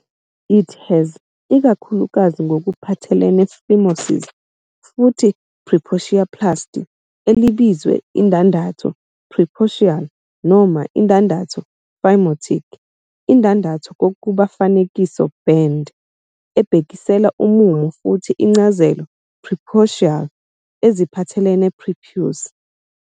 It has, ikakhulukazi ngokuphathelene phimosis futhi preputioplasty, elibizwe indandatho preputial noma indandatho phimotic, "indandatho" kokuba fanekiso "band," ebhekisela umumo, futhi incazelo "preputial" "eziphathelene prepuce".